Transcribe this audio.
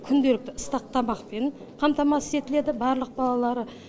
күнделікті ыстық тамақпен қамтамасыз етіледі барлық балалары